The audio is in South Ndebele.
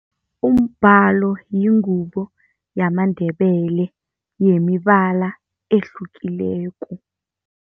Umbhalo yingubo yamaNdebele yemibala ehlukileko.